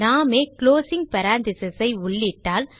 நாமே closing parenthesis ஐ உள்ளிட்டால்